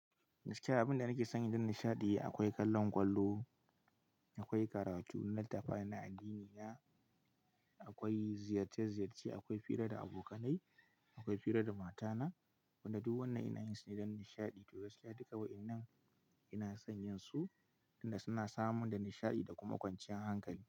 Gaskiya abin da nake son yin don nishaɗi akwai kallon ƙwallo, akwai karatu, littattafai na addinina, akwai ziyarce ziyarce, akwai hira da abokanai, akwai hira da matana. Wadannan duk wannan ina yin su ne don nishaɗi to gaskiya duka waɗannan ina son yin su inda suna samin da nishaɗi da kuma kwanciyar hankali.